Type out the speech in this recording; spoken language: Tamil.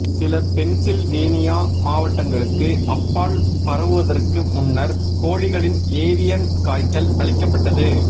சில பென்சில்வேனியா மாவட்டங்களுக்கு அப்பால் பரவுவதற்கு முன்னர் கோழிகளின் ஏவியன் காய்ச்சல் அழிக்கப்பட்டது